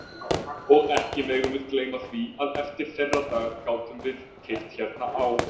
Og ekki megum við gleyma því að eftir þeirra dag gátum við keypt hérna á